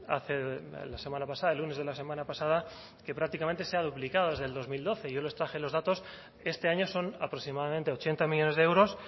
hace la semana pasada el lunes de la semana pasada que prácticamente se ha duplicado desde el dos mil doce yo les traje los datos este año son aproximadamente ochenta millónes de euros